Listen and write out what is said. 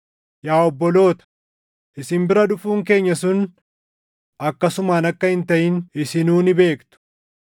Yaa obboloota, isin bira dhufuun keenya sun akkasumaan akka hin taʼin isinuu ni beektu.